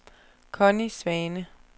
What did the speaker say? Conni Svane